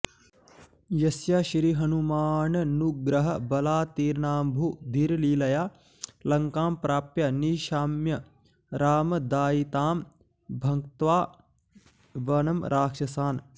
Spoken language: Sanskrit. यस्य श्रीहनुमाननुग्रह बलात्तीर्णाम्बुधिर्लीलया लङ्कां प्राप्य निशाम्य रामदयिताम् भङ्क्त्वा वनं राक्षसान्